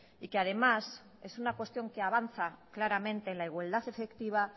y que además es una cuestión que avanza claramente en la igualdad efectiva